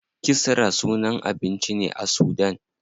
Kisra sunan abinci ne a sudan.